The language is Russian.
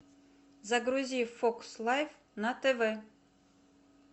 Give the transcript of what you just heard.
загрузи фокс лайф на тв